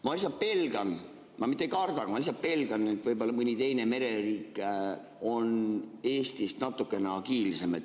Ma ise pelgan, ma mitte ei karda, ma lihtsalt pelgan, et võib-olla mõni teine mereriik on Eestist natuke agiilsem.